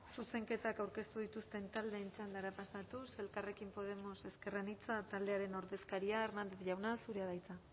zuzenketak aurkeztu dituzten taldeen txandara pasatuz elkarrekin podemos ezker anitza taldearen ordezkaria hernández jauna zurea da hitza